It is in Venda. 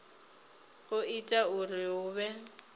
o ita uri hu vhe